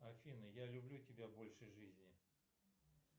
афина я люблю тебя больше жизни